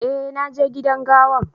Eh, na je gidan gawan.